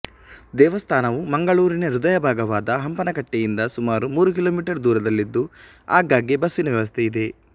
ದೇವಸ್ಥಾನವು ಮಂಗಳೂರಿನ ಹೃದಯಭಾಗವಾದ ಹಂಪನಕಟ್ಟೆಯಿಂದ ಸುಮಾರು ಮೂರು ಕಿಲೋಮಿಟರ್ ದೂರಲ್ಲಿದ್ದು ಆಗಾಗ್ಗೆ ಬಸ್ಸಿನ ವ್ಯವಸ್ಥೆ ಇದೆ